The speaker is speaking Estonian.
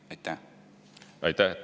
Aitäh!